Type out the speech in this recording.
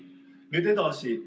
Nüüd edasi.